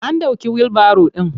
An ɗauke wilbaro ɗin.